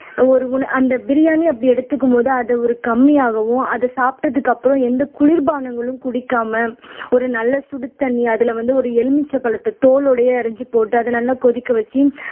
ஒரு உல அந்த பிரியாணி அப்படி எடுத்துக்கும் போது அதை ஒரு கம்மியாகவும் அதை சாப்பிட்டதுக்கு அப்புறம் எந்த குளிர்பானங்களும் குடிக்காம ஒரு நல்ல சுடுதண்ணி அதுல வந்து ஒரு எலுமிச்சை பழத்தை தோலோடயே அரைச்சு போட்டு அதை நல்லா கொதிக்க வச்சு